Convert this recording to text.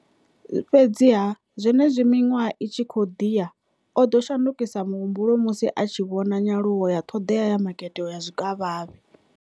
Fhedziha, zwenezwi miṅwaha i tshi khou ḓi ya, o ḓo shandukisa muhumbulo musi a tshi vhona nyaluwo ya ṱhoḓea ya makete wa zwikavhavhe.